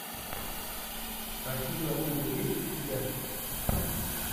афина ум есть у тебя